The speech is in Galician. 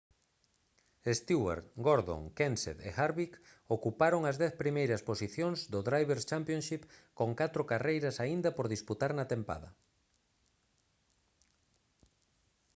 stewart gordon kenseth e harvick ocuparon as dez primeiras posicións do drivers' championship con catro carreiras aínda por disputar na tempada